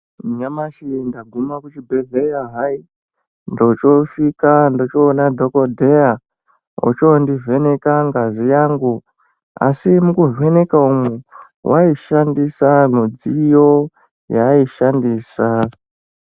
Nyamashi ndaguma kuchibhehleya hai ndochosvika ndochoona dhokodheya ochondivheneka ngazi yangu asi mukuvheneka umwu waishandisa midziyo yaiyishandisa.